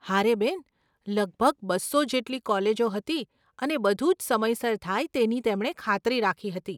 હારે બેન, લગભગ બસ્સો જેટલી કોલેજો હતી અને બધું જ સમયસર થાય તેની તેમણે ખાતરી રાખી હતી.